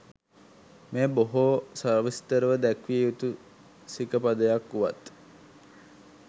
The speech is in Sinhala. මෙය බොහෝ සවිස්තරව දැක්විය යුතු සිකපදයක් වුවත්